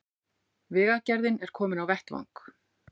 Vegagerðin er komin á vettvang